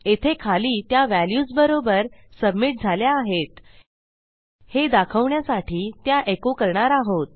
येथे खाली त्या व्हॅल्यूज बरोबर सबमिट झाल्या आहेत हे दाखवण्यासाठी त्या एको करणार आहोत